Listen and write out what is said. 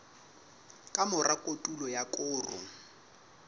ka mora kotulo ya koro